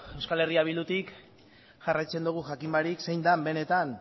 euskal herria bildutik jarraitzen dugu jakin gabe zein den benetan